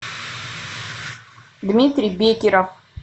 дмитрий бекеров